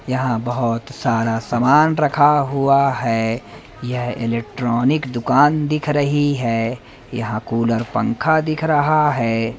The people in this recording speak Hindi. यहां बहुत सारा सामान रखा हुआ है यह इलेक्ट्रॉनिक दुकान दिख रही है यहां कूलर पंखा दिख रहा है।